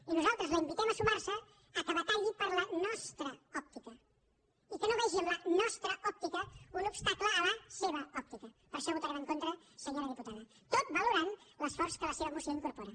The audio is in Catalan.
i nosaltres la invitem a sumar se que batalli per a la nostra òptica i que no vegi en la nostratacle a la sevaper això votarem en contra senyora diputada tot valorant l’esforç que la seva moció incorpora